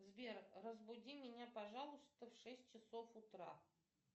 сбер разбуди меня пожалуйста в шесть часов утра